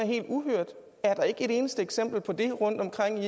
helt uhørt er der ikke et eneste eksempel på det rundtomkring